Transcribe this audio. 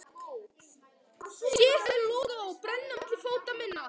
Sé þær loga og brenna milli fóta minna.